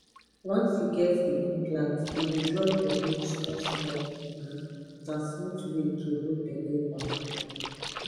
once you get the implant e dey drop hormone smallsmall um na smooth way to hold belle wahala